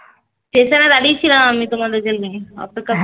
station এ দাঁড়িয়ে ছিলাম আমি তোমাদের জন্য অপেক্ষা করছিলাম